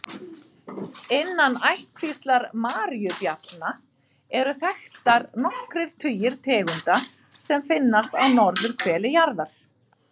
Innan ættkvíslar maríubjallna eru þekktar nokkrir tugir tegunda sem finnast á norðurhveli jarðar.